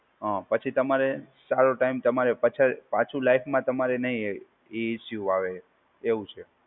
હા, પછી તમારે સારું ટાઈમ તમારે પાછળ પાછું લાઇફમાં તમારે નહીં એ ઇસ્યુ આવે એવું છે.